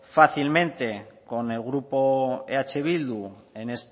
fácilmente con el grupo eh bildu